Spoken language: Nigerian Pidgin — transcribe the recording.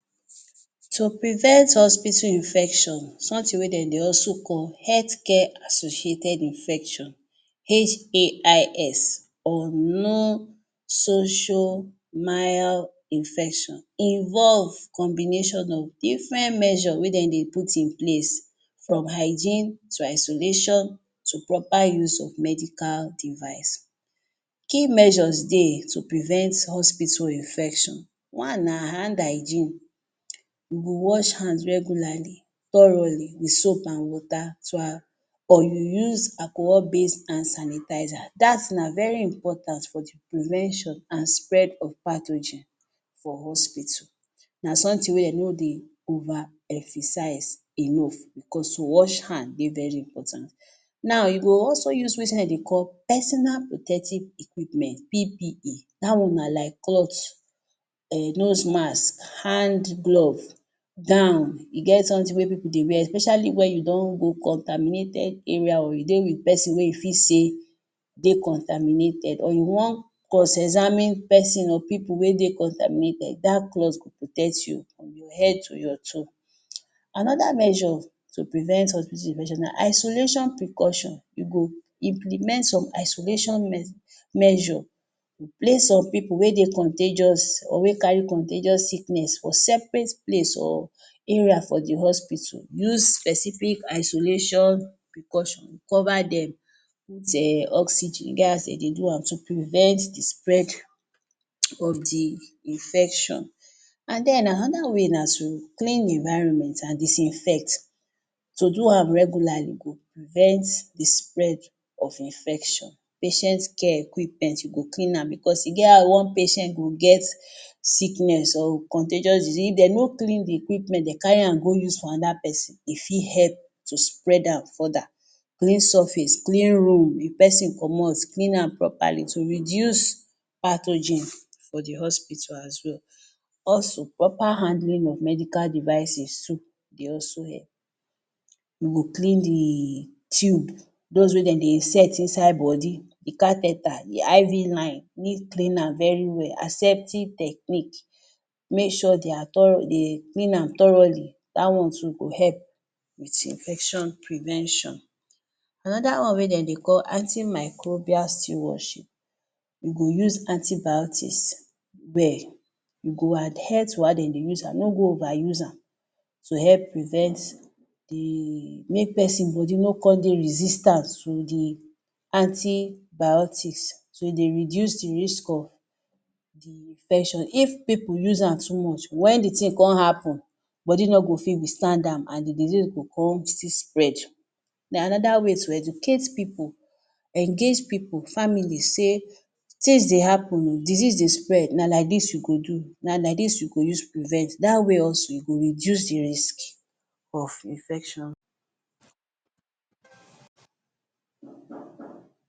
To prevent hospital infection, something wey de dey also call Health care Associated Infection HAIs, or Non-social Infection involve combination of different measure wey de dey put in place from hygiene to isolation, to proper use of medical device. Key measures dey to prevent hospital infection. One na hand hygiene. You go wash hand regularly, thoroughly with soap an water or you use alcohol-based hand sanitizer. Dat na very important for the prevention an spread of pathogen for hospital. Na something wey de no dey overemphasize enough becos to wash hand dey very important. Now, you go also use wetin de dey call Personal Protective Equipment PPE. Dat one na like cloth, um nose mask, hand glove, gown. E get something wey pipu dey wear especially wen you don go contaminated area or you dey with peson wey you fit say dey contaminated or you wan cross-examine peson or pipu wey dey contaminated, dat cloth go protect you from your head to your toe. Another measure to prevent hospital infection na isolation precaution. You go implement some isolation measure. Place some pipu wey dey contagious or wey carry contagious sickness for separate place or area for the hospital. Use specific isolation precaution. Cover dem, put um oxygen, e get as de dey do am to prevent the spread of the infection. An then another way na to clean environment an disinfect. To do am regularly go prevent the spread of infection. Patient care equipment, you go clean am becos e get how one patient go get sickness or contagious disease, if de no clean the equipment de carry am go use for another peson, e fit help to spread am further. Clean surface, clean room. If peson comot, clean am properly to reduce pathogen for the hospital as well. Also proper handling of medical devices too dey also help. You go clean the tube—dos wey de dey set inside body— the, the IV line need clean am very well. Acceptive Technique. Make sure de are de clean am thoroughly. Dat one too go help with infection prevention. Another one wey de dey call antimicrobial stewardship. You go use antibiotics well. You go adhere to how de dey use am. No go overuse am to help prevent the make peson body no con dey resistance to the antibiotics. So, e dey reduce the risk of the infection. If pipu use am too much, wen the tin con happen, body no go fit withstand am an the disease go con still spread. Then another way, to educate pipu. Engage pipu, families sey tins dey happen oh, disease dey spread, na like dis you go do, na like dis you go use prevent. Dat way also, you go reduce the risk of infection.